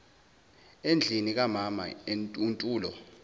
endlini kamama untulo